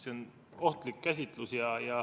See on ohtlik käsitlus.